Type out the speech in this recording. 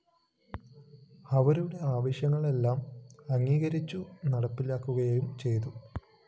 അവരുടെ ആവശ്യങ്ങളെല്ലാം അംഗീകരിച്ചു നടപ്പിലാക്കുകയും ചെയ്തു